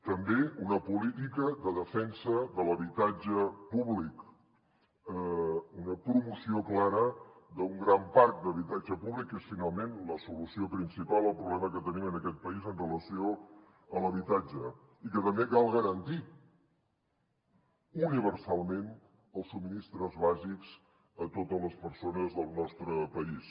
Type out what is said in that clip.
també una política de defensa de l’habitatge públic una promoció clara d’un gran parc d’habitatge públic que és finalment la solució principal al problema que tenim en aquest país amb relació a l’habitatge i que també cal garantir universalment els subministres bàsics a totes les persones del nostre país